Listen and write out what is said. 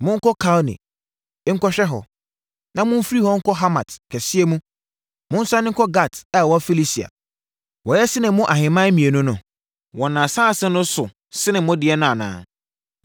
Monkɔ Kalne, nkɔhwɛ hɔ. Na momfiri hɔ nkɔ Hamat kɛseɛ mu, monsiane nkɔ Gat a ɛwɔ Filistia. Wɔyɛ sene mo ahemman mmienu no? Wɔn asase no so sene mo deɛ no anaa?